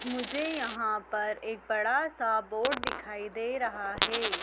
मुझे यहां पर एक बड़ा सा बोर्ड दिखाई दे रहा है।